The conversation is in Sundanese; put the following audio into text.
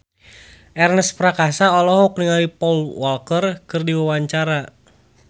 Ernest Prakasa olohok ningali Paul Walker keur diwawancara